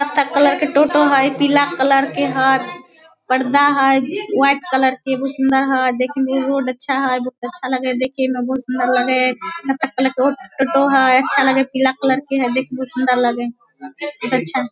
Colour के टोटो है पीला कलर है पर्दा है व्हाइट कलर के बहुत सुंदर है देखने में भी रोड अच्छा है बहुत अच्छा लगे हैं देखे मे बहुत सुंदर लगे हैं देखे मे कत्थक कलर के ओ टोटो हेय अच्छा लगे हैं पीला कलर के हैं देख के बहुत सुंदर लगे हेय।